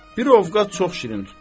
Bir ovqat çox şirin tutdu.